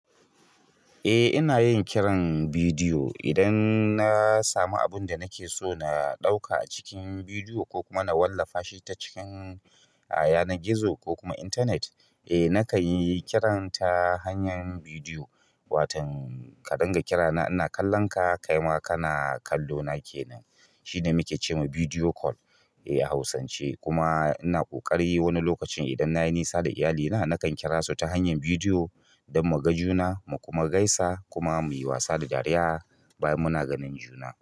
Eh ina yin kiran bidiyo idan na samu abun da nake so na ɗauka a cikin bidiyo ko kuma na wallafa shi ta cikin yanar gizo ko kuma intanet. Eh nakan yi kiranta ta hanyar bidiyo, watan ka dinga kira na ina kallon ka, kai ma kana kallo na kenan. Shine muke ce ma bidiyo call a hausance kuma ina ƙoƙari wani lokacin idan nayi nisa da iyalina nakan kira su ta hanyar bidiyo don muga juna mu kuma gaisa kuma muyi wasa da dariya bayan muna ganin juna.